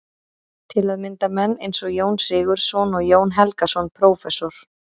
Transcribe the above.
Til að mynda menn eins og Jón Sigurðsson og Jón Helgason prófessor.